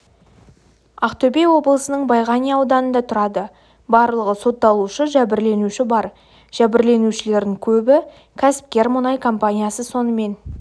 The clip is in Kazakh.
ақтөбе облысының байғанин ауданында тұрады барлығы сотталушы жәбірленуші бар жәбірленушілердің көбі кәсіпкер мұнай компаниясы сонымен